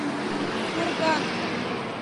курган